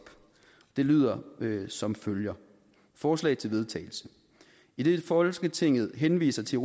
det lyder som følger forslag til vedtagelse idet folketinget henviser til